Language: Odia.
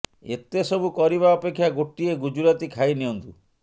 ଏତେ ସବୁ କରିବା ଅପେକ୍ଷା ଗୋଟିଏ ଗୁଜୁରାତି ଖାଇ ନିଅନ୍ତୁ